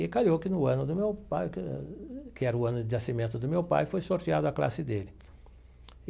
E caiu que no ano do meu pai, que que era o ano de nascimento do meu pai, foi sorteado a classe dele.